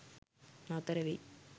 නතර වෙයි.